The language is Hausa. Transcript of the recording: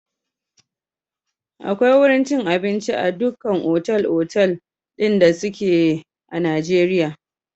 Akwai wurin cin abinci a dukkan otal-otal ɗin da suke Najeriya.